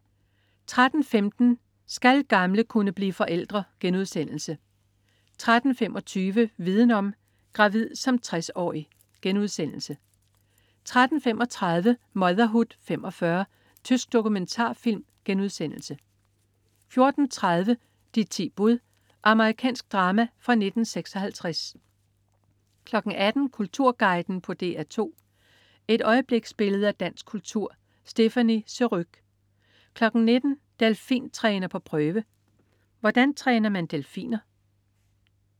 13.15 Skal gamle kunne blive forældre?* 13.25 Viden om: Gravid som 60-årig* 13.35 Motherhood 45. Tysk dokumentarfilm* 14.30 De ti bud. Amerikansk drama fra 1956 18.00 Kulturguiden på DR2. Et øjebliksbillede af dansk kultur. Stéphanie Surrugue 19.00 Delfintræner på prøve. Hvordan træner man delfiner?